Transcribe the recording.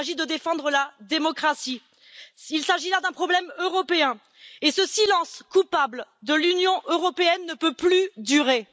Il s'agit de défendre la démocratie. Il s'agit là d'un problème européen, et ce silence coupable de l'Union européenne ne peut plus durer.